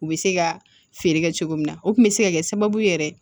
U bɛ se ka feere kɛ cogo min na o tun bɛ se ka kɛ sababu yɛrɛ ye